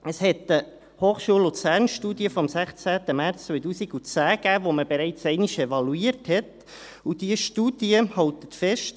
Es gab eine Studie der Hochschule Luzern (HSLU) vom 16. März 2010 die man bereits einmal evaluiert hat, und diese Studie hält fest: